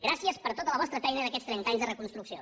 gràcies per tota la vostra feina d’aquests trenta anys de reconstrucció